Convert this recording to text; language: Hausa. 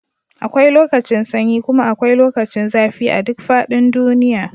akwai lokacin sanyi kuma akwai lokacin zafi a duk faɗin duniy